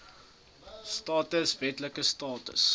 status wetlike status